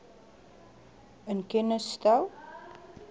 in kennis stel